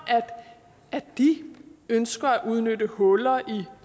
at de ønsker at udnytte huller i